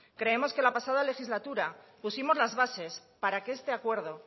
creemos que la pasada legislatura pusimos las bases para que este acuerdo